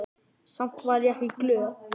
Samt var ég ekki glöð.